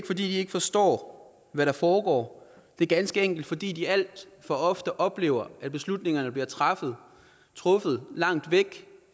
fordi de ikke forstår hvad der foregår det er ganske enkelt fordi de alt for ofte oplever at beslutningerne bliver truffet langt væk